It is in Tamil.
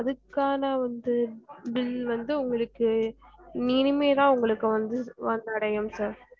அதுக்கான வந்து bill வந்து உங்களுக்கு இனிமேதா உங்களுக்கு வந்து வந்தடையும் sir